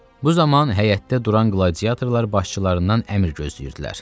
Bu zaman həyətdə duran qladiatorlar başçılarından əmr gözləyirdilər.